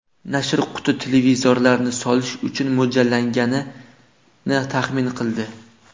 Nashr quti televizorlarni solish uchun mo‘ljallanganini taxmin qildi.